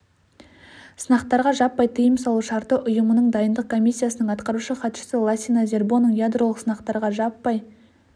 сынақтарға жаппай тыйым салу шарты ұйымының дайындық комиссиясының атқарушы хатшысы лассина зербоның ядролық сынақтарға жаппай